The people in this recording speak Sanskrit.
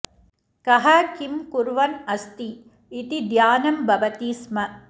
कः किं कुर्वन् अस्ति इति ध्यानं भवति स्म